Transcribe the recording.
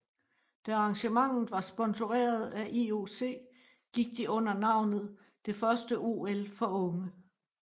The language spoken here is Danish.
Da arrangementet var sponsoreret af IOC gik de under navnet det første OL for unge